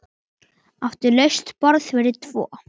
Það gustaði um Einar.